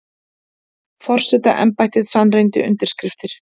Forsetaembættið sannreyndi undirskriftir